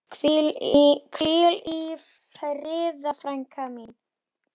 Hvíl í friði frænka mín.